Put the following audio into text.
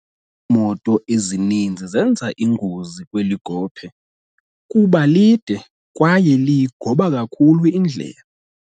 moto ezininzi zenza ingozi kweli gophe kuba lide kwaye liyigoba kakhulu indlela.